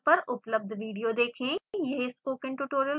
इस url पर उपलब्ध वीडियो देखें: